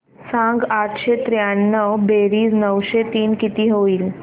सांग आठशे त्र्याण्णव बेरीज नऊशे तीन किती होईल